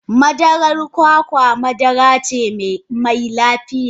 madarar kwakwa madara ce mai lafiya.